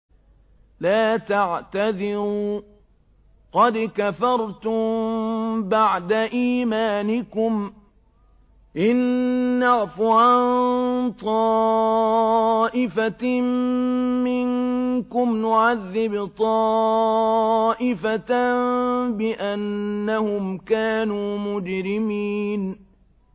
لَا تَعْتَذِرُوا قَدْ كَفَرْتُم بَعْدَ إِيمَانِكُمْ ۚ إِن نَّعْفُ عَن طَائِفَةٍ مِّنكُمْ نُعَذِّبْ طَائِفَةً بِأَنَّهُمْ كَانُوا مُجْرِمِينَ